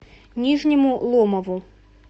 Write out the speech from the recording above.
нижнему ломову